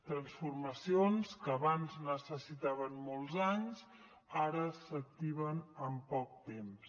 transformacions que abans necessitaven molts anys ara s’activen amb poc temps